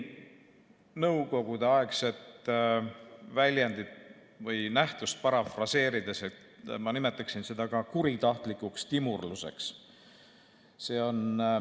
Nõukogudeaegset väljendit või nähtust parafraseerides ma nimetaksin seda ka kuritahtlikuks timurluseks.